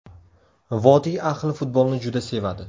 Vodiy ahli futbolni juda sevadi.